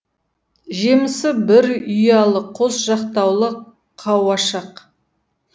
жемісі бір ұялы қос жақтаулы қауашақ